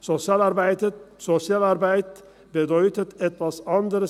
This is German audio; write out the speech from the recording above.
Sozialarbeit bedeutet etwas anders.